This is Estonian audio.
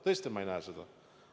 Tõesti, ma ei näe seda.